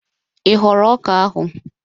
Ị ghọrọ ọka ahụ?